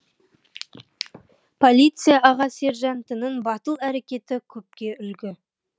полиция аға сержантының батыл әрекеті көпке үлгі